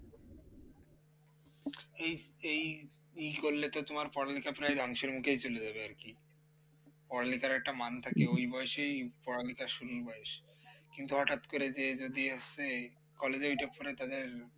এই এই ই করলে তো তোমার পড়ালেখা প্রায় ধ্বংসের মুখে চলে যাবে আর কি পড়ালেখার একটা মান থাকে ওই বয়সেই পড়ালেখা শুরুর বয়স কিন্তু হঠাৎ করে যে যদি আসে college এ ওইটা পড়ে তাদের